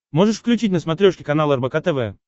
можешь включить на смотрешке канал рбк тв